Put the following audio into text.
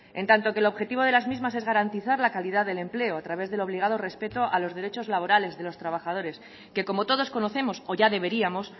en tanto que el objetivo de las mismas es garantizar la calidad del empleo a través del obligado respeto a los derechos laborales de los trabajadores que como todos conocemos o ya deberíamos